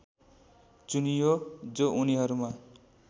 चुनियो जो उनीहरूमा